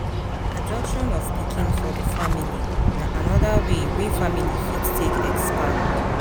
Adoption of pikin for di family na anoda way wey family fit take expand